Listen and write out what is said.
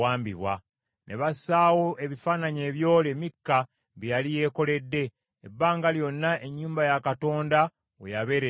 Ne bassaawo ebifaananyi ebyole Mikka bye yali yeekoledde, ebbanga lyonna ennyumba ya Katonda we yabeerera mu Siiro.